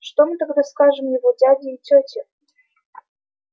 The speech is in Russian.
что мы тогда скажем его дяде и тёте